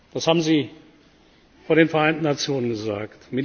Das haben Sie vor den Vereinten Nationen gesagt.